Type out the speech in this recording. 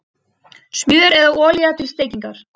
Smjör eða olía til steikingar